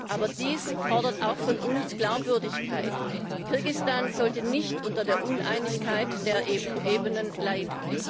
Aber dies fordert auch von uns Glaubwürdigkeit. Kirgisistan sollte nicht unter der Uneinigkeit der EU Ebenen leiden.